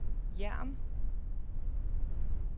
Hjerm